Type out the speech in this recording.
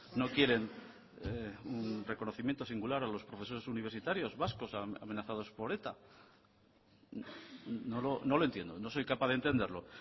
no quieren reconocimiento singular a los profesores universitarios vascos amenazados por eta no lo entiendo no soy capaz de entenderlo